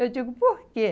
Eu digo, por quê?